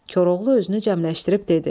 Koroğlu özünü cəmləşdirib dedi.